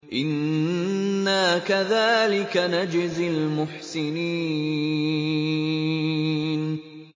إِنَّا كَذَٰلِكَ نَجْزِي الْمُحْسِنِينَ